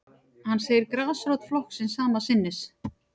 Hann segir grasrót flokksins sama sinnis